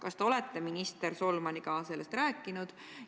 Kas te olete minister Solmaniga sellest rääkinud?